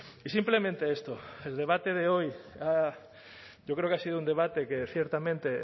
y simplemente esto el debate de hoy ha yo creo que ha sido un debate que ciertamente